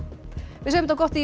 við segjum þetta gott í